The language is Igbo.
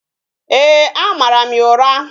Ee, a mara m ya ụra